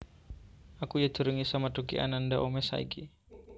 Aku yo durung iso methuki Ananda Omesh saiki